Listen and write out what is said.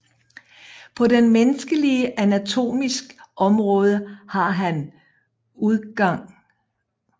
På den menneskelige Anatomis Omraade har han udg